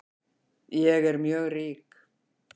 Ég er mjög rík